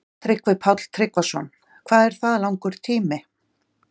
Tryggvi Páll Tryggvason: Hvað er það langur tími?